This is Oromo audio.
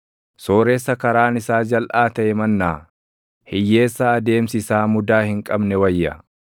Sooressa karaan isaa jalʼaa taʼe mannaa hiyyeessa adeemsi isaa mudaa hin qabne wayya.